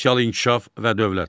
Sosial inkişaf və dövlət.